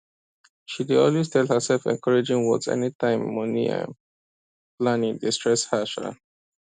she dey always tell herself encouraging words anytime money um planning dey stress her um